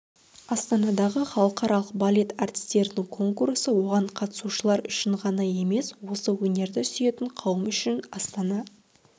астанадағы халықаралық балет әртістерінің конкурсы оған қатысушылар үшін ғана емес осы өнерді сүйетін қауым үшін астана